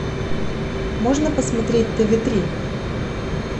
можно посмотреть тв три